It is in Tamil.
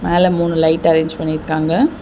மேல மூணு லைட் அரேஞ்ச் பண்ணிருக்காங்க.